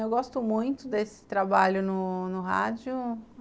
Eu gosto muito desse trabalho no no rádio.